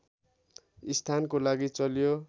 स्थानको लागि चल्यो